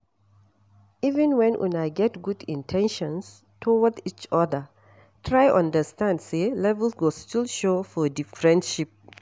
Even when una get good in ten tions towards each oda, try understand sey levels go still show for di friendship